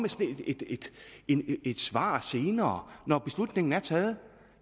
et svar senere når beslutningen er taget